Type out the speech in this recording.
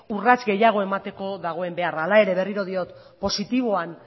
urrats gehiago emateko dagoen beharra hala ere berriro diot positiboan